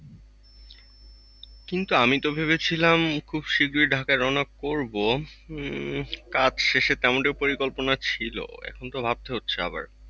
কিন্তু আমি তো ভেবেছিলাম খুব শীঘ্রই ঢাকা রওনা করব। উম কাজ শেষে তেমনটি পরিকল্পনা ছিল এখন তো ভাবতে হচ্ছে আবার।